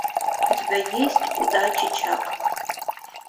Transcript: у тебя есть удачи чак